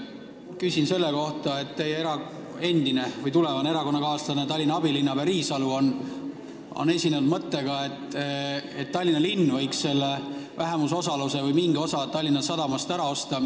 Küsin selle kohta, et teie endine või tulevane erakonnakaaslane, Tallinna abilinnapea Riisalu on välja käinud mõtte, et Tallinna linn võiks vähemusosaluse või mingi osa Tallinna Sadamast ära osta.